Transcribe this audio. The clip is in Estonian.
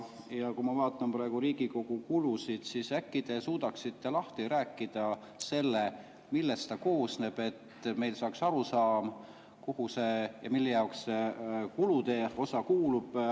Ja kui ma vaatan praegu Riigikogu kulusid, siis äkki te suudaksite lahti rääkida selle, millest ta koosneb, et meil arusaam, kuhu ja mille jaoks kulude osa.